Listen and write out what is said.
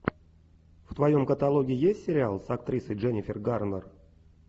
в твоем каталоге есть сериал с актрисой дженнифер гарнер